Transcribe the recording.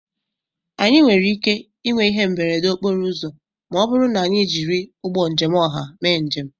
Anyị nwere ike ịnwe ihe mberede okporo ụzọ ma ọ bụrụ na anyị jiri ụgbọ njem ọha mee njem